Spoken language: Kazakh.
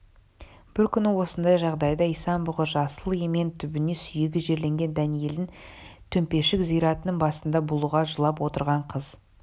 бір күні осындай жағдайда исан-бұғы жасыл емен түбіне сүйегі жерленген дәниелдің төмпешік зиратының басында булыға жылап отырған қыз